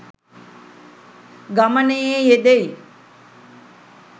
ගමනේ යෙදෙයි.